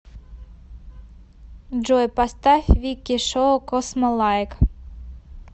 джой поставь вики шоу космолайк